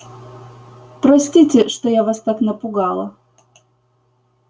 простите что я вас так напугала